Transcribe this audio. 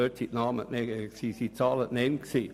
Dort wurden Zahlen genannt.